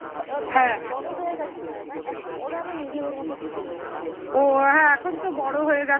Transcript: ও হ্যাঁ এখন তো বড় হয়ে গেছে